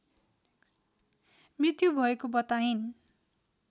मृत्यु भएको बताइन्